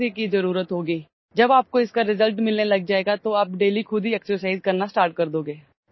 When you start getting results, you will start exercising yourself daily